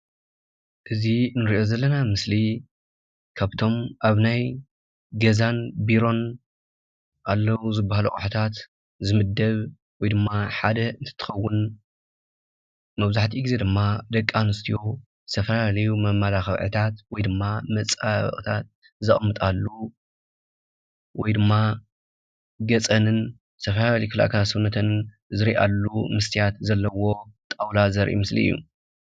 እዚ ንሪኦ ዘለና ምስሊ ካብቶም ኣብ ናይ ገዛን ቢሮን ኣለዉ ዝበሃሉ ኣቕላታት ዝምደብ ወይ ድማ ሓደ እንትኸውን መብዛሕትኡ ግዜ ድማ ደቂ ኣንስትዮ ዝተፈላለዩ መመላኽዕታት ወይ ድማ መፀባበቕታት ዘቕምጣሉ ወይ ድማ ገፀንን ዝተፈላለዩ ኣካላት ሰውነተንን ዝርእያሉ መስትያት ዘለዎ ጣውላ ዘርኢ ምስሊ እዩ፡፡